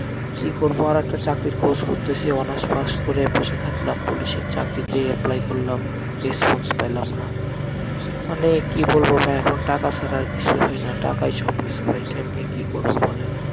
কি করবো আর একটা চাকরির খোজ করতেসি honours pass করে বসে থাকলাম, পুলিশ এর চাকরি তে apply করলাম response পেলাম না, মানে কি বলবো ভাই এখন টাকা ছাড়া আর কিসুই হয়না, টাকাই সব কিসু ভাই, কেমনে কি করবো বলেন,